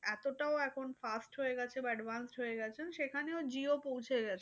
এতটাও এখন fast হয়ে গেছে বা advance গেছে সেখানেও jio পৌঁছে গেছে।